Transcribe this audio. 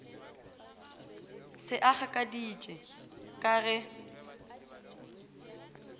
se a gakaditše ka ge